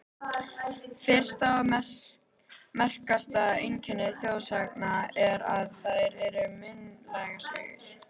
Fyrsta og merkasta einkenni þjóðsagna er, að þær eru munnmælasögur.